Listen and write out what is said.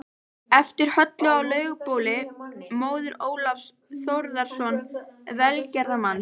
eftir Höllu á Laugabóli, móður Ólafs Þórðarsonar velgerðarmanns